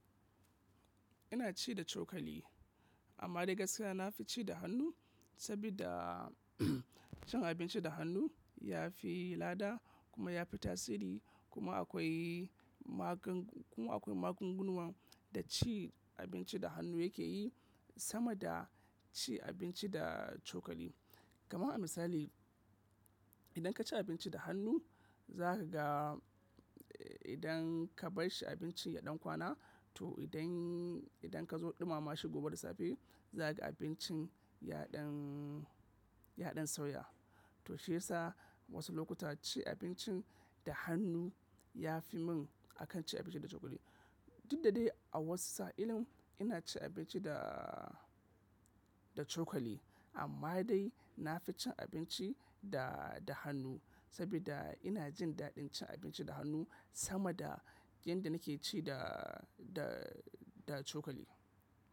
Ina ci da cokali, amma dai gaskiya na fi ci da hannu sabida cin abinci da hannu ya fi lada kuma ya fi tasiri kuma akwai magan- kuma akwai magunguna da ci abinci da hannu ya ke yi sama da ci abinci da cokali. Kama a misali, idan ka ci abinci da hannu, za ka ga idan ka bar shi abinci yaɗin kwana to idan, idan ka zo ɗumama shi gobe da safe za ka ga abincin ya ɗan, ya ɗan sauya. To shi yasa wasu lokuta ci abincin da hannu ya fi mun akan ci abinci da cokali. Tun da de a wasu tsayin ina ci abinci da, da cokali amma dai na fi cin abinci da, da hannu sabida ina jin daɗin cin abinci da hannu sama da yadda na ke ci da, da, da cokali.